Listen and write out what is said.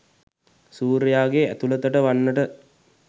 සූර්යයාගේ ඇතුලතට වන්නට